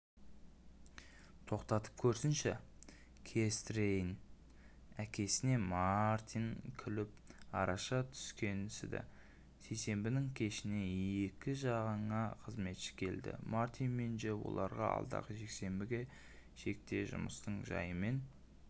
тоқтатып көрсінші көрістірейін әкесінемартин күліп араша түскенсіді сейсенбінің кешіне екі жаңа қызметші келді мартин мен джо оларға алдағы жексенбіге шекте жұмыстың жайымен